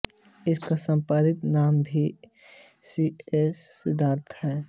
इसका संक्षिप्त नाम वी सी एस सिद्धांत है